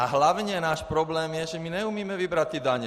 A hlavně náš problém je, že my neumíme vybrat ty daně.